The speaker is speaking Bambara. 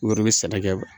U yɛrɛ bɛ sɛnɛ kɛ